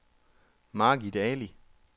Margit Ali